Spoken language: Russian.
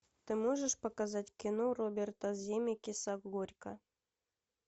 ты можешь показать кино роберта земекиса горько